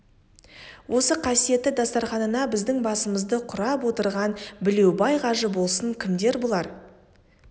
осы қасиетті дастарқанына біздің басымызды құрап отырған білеубай қажы болсын кімдер бұлар